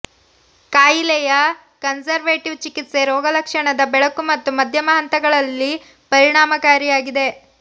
ಕಾಯಿಲೆಯ ಕನ್ಸರ್ವೇಟಿವ್ ಚಿಕಿತ್ಸೆ ರೋಗಲಕ್ಷಣದ ಬೆಳಕು ಮತ್ತು ಮಧ್ಯಮ ಹಂತಗಳಲ್ಲಿ ಪರಿಣಾಮಕಾರಿಯಾಗಿದೆ